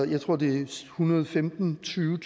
jeg tror det er ethundrede og femtentusind